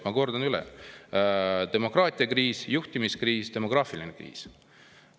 Ma kordan üle: demokraatiakriis, juhtimiskriis, demograafiline kriis.